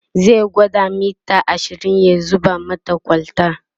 zai gwada mita ashirin ya zuba mata kwalta